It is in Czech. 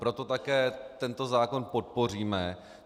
Proto také tento zákon podpoříme.